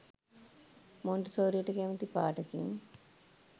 මොන්ටිසෝරියට කැමති පාටකින්